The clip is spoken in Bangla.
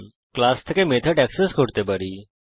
আমরা ক্লাস থেকে মেথড এক্সেস করতে পারি